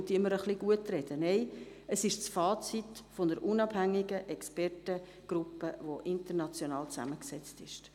Es handelt sich um das Fazit einer unabhängigen Expertengruppe, welche international zusammengesetzt ist.